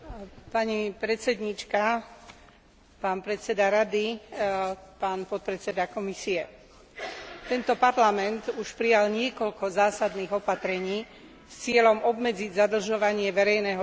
Tento parlament už prijal niekoľko zásadných opatrení s cieľom obmedziť zadlžovanie verejného sektora a veľa hovoríme o potrebe naštartovať ekonomický rast a znížiť nezamestnanosť.